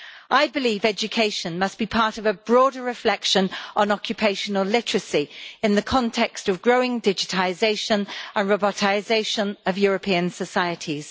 I believe education must be part of a broader reflection on occupational literacy in the context of growing digitisation and robotisation of European societies.